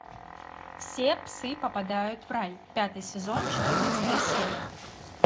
все псы попадают в рай пятый сезон четырнадцатая серия